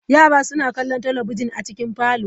Yara suna kallon talabijin a cikin Parlour.